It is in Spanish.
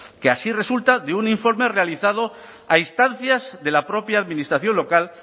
que así resulta de un informe realizado a instancias de la propia administración local